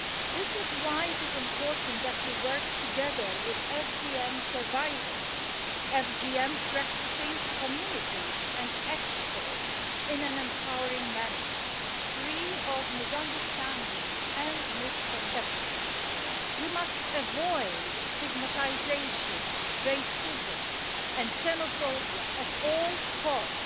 This is why it is important that we work together with FGM survivors, FGM practicing communities and experts in an empowering manner, free of misunderstandings and misconceptions. We must avoid stigmatisation, racism and xenophobia at all costs.